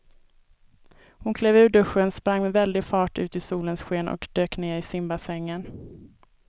Hon klev ur duschen, sprang med väldig fart ut i solens sken och dök ner i simbassängen.